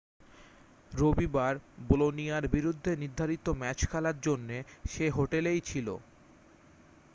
রবিবার বোলোনিয়ার বিরুদ্ধে নির্ধারিত ম্যাচ খেলার জন্যে সে হোটেলেই ছিল